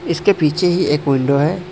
इसके पीछे ही एक विंडो है।